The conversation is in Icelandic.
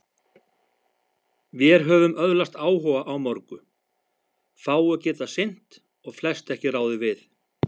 Vér höfum öðlast áhuga á mörgu, fáu getað sinnt og flest ekki ráðið við.